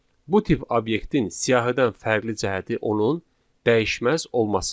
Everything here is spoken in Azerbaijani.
Bu tip obyektin siyahıdan fərqli cəhəti onun dəyişməz olmasıdır.